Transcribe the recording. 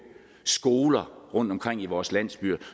skoler rundtomkring i vores landsbyer det